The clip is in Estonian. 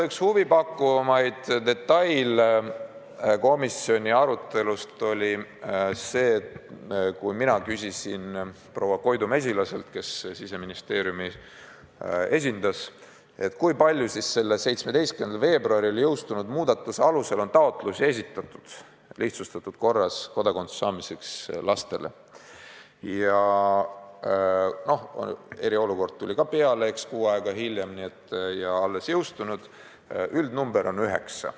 Üks huvipakkuvamaid detaile komisjoni arutelus oli see, et kui mina küsisin proua Koidu Mesilaselt, kes Siseministeeriumi esindas, kui palju selle 17. veebruaril jõustunud muudatuse alusel on esitatud taotlusi lihtsustatud korras kodakondsuse andmiseks lastele – no eriolukord tuli kuu aega hiljem ka peale ja seadus on alles jõustunud –, siis ta vastas, et see number on 9.